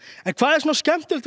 hvað er svona skemmtilegt við